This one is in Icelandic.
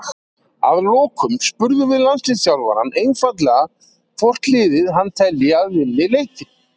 Að lokum spurðum við landsliðsþjálfarann einfaldlega hvort liðið hann telji að vinni leikinn.